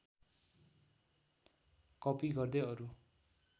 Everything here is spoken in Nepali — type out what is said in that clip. कपी गर्दै अरू